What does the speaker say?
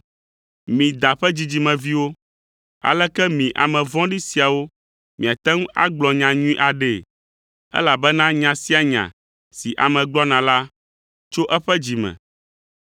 Mi, da ƒe dzidzimeviwo! Aleke mi ame vɔ̃ɖi siawo miate ŋu agblɔ nya nyui aɖee? Elabena nya sia nya si ame gblɔna la tso eƒe dzi me.